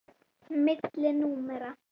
Milli númera.